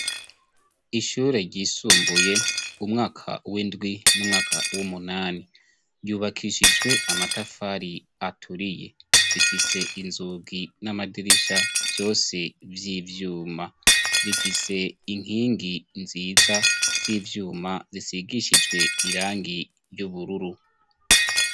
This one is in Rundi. Ishure ryisumbuye umwaka w'indwi n'umwaka w'umunani. Ryubakishijwe amatafari aturiye rifise inzugi n'amadirisha vyose vy'ivyuma rifise inkingi nziza z'ivyuma zisigishijwe irangi ry'ubururu.